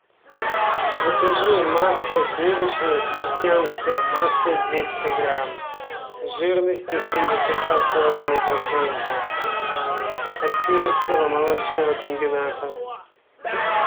закажи масло сливочное крестьянское массой двести грамм жирностью семьдесят два с половиной процента от кировского молочного комбината